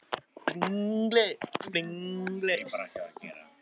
Þú stendur þig vel, Bjargdís!